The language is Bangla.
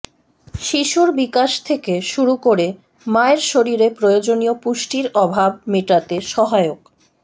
শিশুর বিকাশ থেকে শুরু করে মায়ের শরীরে প্রয়োজনীয় পুষ্টির অভাব মেটাতে সহায়ক